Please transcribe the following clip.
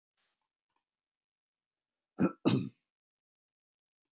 Man ég eftir því að Alda var eitt sinn svo ósmekkleg þegar